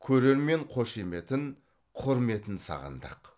көрермен қошеметін құрметін сағындық